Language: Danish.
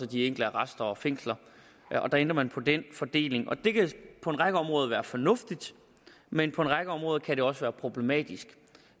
de enkelte arrester og fængsler der ændrer man på den fordeling og det kan på en række områder være fornuftigt men på en række områder kan det også være problematisk